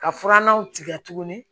Ka furannanw tigɛ tuguni